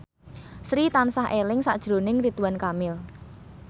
Sri tansah eling sakjroning Ridwan Kamil